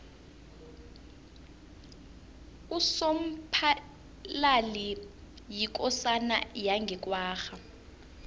usomphalali yikosana yange kwagga